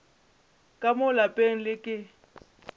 ka mo lapeng le ke